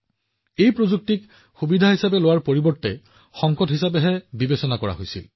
যি প্ৰযুক্তিক এটা সুযোগ হিচাপে চোৱাটো উচিত আছিল তাক এক সংকট হিচাপে দেখা গৈছিল